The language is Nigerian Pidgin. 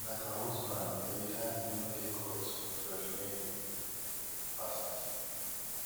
like her husband heredia bin no dey court wen judge nayko coronado bin pass sen ten ce